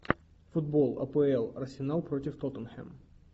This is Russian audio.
футбол апл арсенал против тоттенхэм